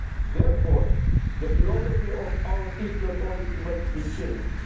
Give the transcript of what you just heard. Therefore, the philosophy of our Eastern policy must be changed.